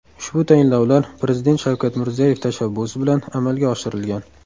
Ushbu tayinlovlar Prezident Shavkat Mirziyoyev tashabbusi bilan amalga oshirilgan.